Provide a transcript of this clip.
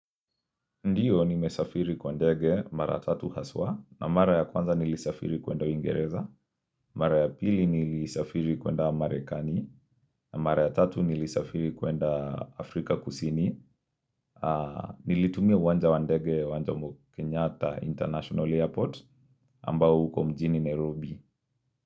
Ndiyo nimesafiri kwa ndege mara tatu haswa na mara ya kwanza nilisafiri kwenda ingereza Mara ya pili nilisafiri kwenda amarekani na mara ya tatu nilisafiri kwenda afrika kusini Nilitumia wanja wandege wanja mkenyata international airport ambao huko mjini Nairobi.